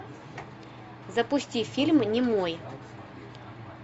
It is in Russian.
запусти фильм немой